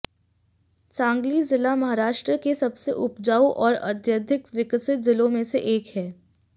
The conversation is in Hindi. सांगली जिला महाराष्ट्र के सबसे उपजाऊ और अत्यधिक विकसित जिलों में से एक है